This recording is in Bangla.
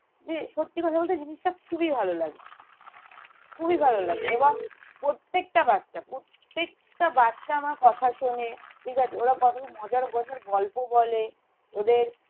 যে সত্যি কথা বলতে জিনিসটা খুবই ভালো লাগে খুবই ভালো লাগে এবং প্রত্যেকটা বাচ্চা প্রত্যেকটা বাচ্চা আমার কথা শোনে ঠিক আছে ওরা কত মজার মজার গল্প বলে ওদের